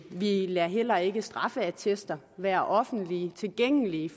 vi lader heller ikke straffeattester være offentligt tilgængelige